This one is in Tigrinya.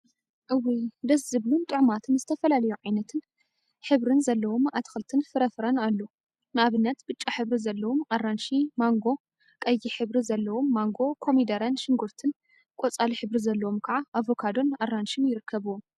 እውይ! ደስ ዝብሉን ጡዑማትን ዝተፈላለየ ዓይነትን ሕብሪን ዘለዎም አትልትን ፍራፍረን አለው፡፡ ንአብነት ብጫ ሕብሪ ዘለዎም አራንሺ፣ ማንጎ ፤ቀይሕ ሕብሪ ዘለዎም ማንጎ፣ ኮሚደረን ሽጉርቲን ፤ቆፃል ሕብሪ ዘለዎም ከዓ አቨካዶን አራንሺን ይርከቡዎም፡፡